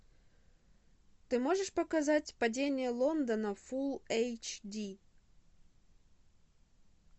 ты можешь показать падение лондона фул эйч ди